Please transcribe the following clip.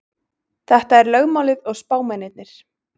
Þetta er lögmálið og spámennirnir.